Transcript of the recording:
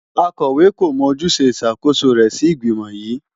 Akọ̀wé kò mọ ojúṣe ìṣàkóso rẹ̀ sí ìgbìmò yìí.